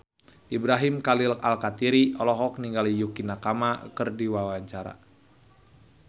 Ibrahim Khalil Alkatiri olohok ningali Yukie Nakama keur diwawancara